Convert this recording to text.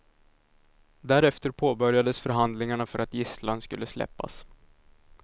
Därefter påbörjades förhandlingarna för att gisslan skulle släppas.